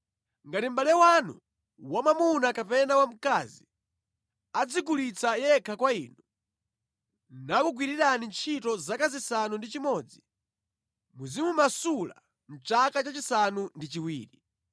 Ngati mʼbale wanu wamwamuna kapena wamkazi adzigulitsa yekha kwa inu, nakugwirirani ntchito zaka zisanu ndi chimodzi, muzimumasula mʼchaka cha chisanu ndi chiwiri.